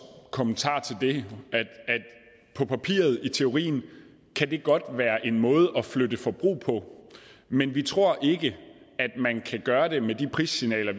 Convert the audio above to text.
kommentar til det at på papiret og i teorien kan det godt være en måde at flytte forbrug på men vi tror ikke at man kan gøre det med de prissignaler